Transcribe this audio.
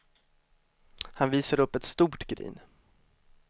Han visade upp ett stort grin.